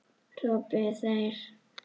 hrópuðu þeir.